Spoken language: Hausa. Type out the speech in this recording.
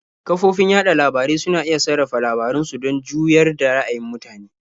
Kafofin yaɗa labarai suna iya sarrafa labaran su don juyar da ra'ayin mutane.